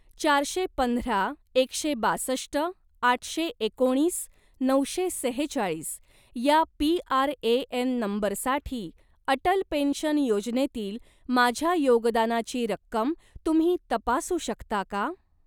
चारशे पंधरा एकशे बासष्ट आठशे एकोणीस नऊशे सेहेचाळीस या पी.आर.ए.एन. नंबरसाठी अटल पेन्शन योजनेतील माझ्या योगदानाची रक्कम तुम्ही तपासू शकता का?